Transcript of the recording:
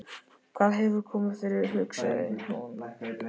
Hvað hefur komið fyrir, hugsaði hún.